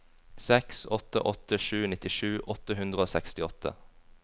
seks åtte åtte sju nittisju åtte hundre og sekstiåtte